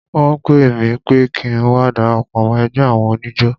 Wọ́n pè mí pé kí ń wá darapọ̀ mọ́ ẹgbẹ́ àwọn oníjó.